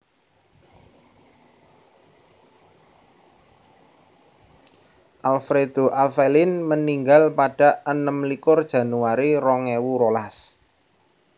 Alfredo Avelin meninggal pada enem likur Januari rong ewu rolas